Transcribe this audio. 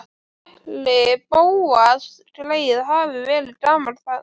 Hvað ætli Bóas greyið hafi verið gamall þarna?